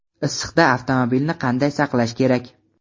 Issiqda avtomobilni qanday saqlash kerak?.